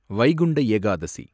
Vaikunta Ekadashi